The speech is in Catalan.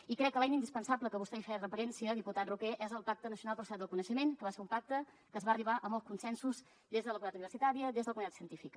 i crec que l’eina indispensable a què vostè feia referència diputat roquer és el pacte nacional per a la societat del coneixement que va ser un pacte que s’hi va arribar amb els consensos des de la comunitat universitària des de la comunitat científica